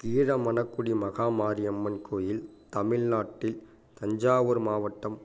கீழமணக்குடி மகாமாரியம்மன் கோயில் தமிழ்நாட்டில் தஞ்சாவூர் மாவட்டம்